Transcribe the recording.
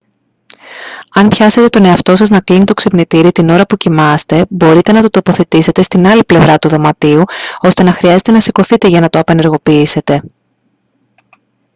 αν πιάσετε τον εαυτό σας να κλείνει το ξυπνητήρι την ώρα που κοιμάστε μπορείτε να το τοποθετήσετε στην άλλη πλευρά του δωματίου ώστε να χρειάζεται να σηκωθείτε για να το απενεργοποιήσετε